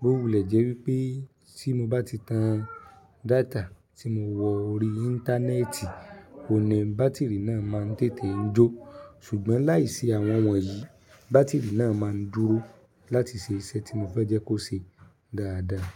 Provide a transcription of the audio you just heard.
Bóòwù lẹ́ wípé tí mo bá ti tan data tí mo wọ ori íńtánẹ́ẹ̀tì, òní bátìrì náà máa ń tètè ń jó. Ṣùgbọ́n láìsí àwọn wọ̀nyí, bátìrì náà máa ń dúró láti ṣe iṣẹ́ tí mo fẹ́ jẹ́ kó ṣe dáadáa.